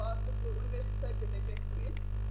O artıq universitetə gedəcək bu il.